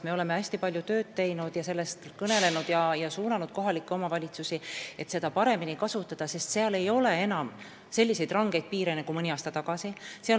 Me oleme hästi palju tööd teinud, sellest kõnelenud ja kohalikke omavalitsusi suunanud, et seda raha paremini kasutataks, sest seal ei ole enam selliseid rangeid piiranguid nagu mõni aasta tagasi.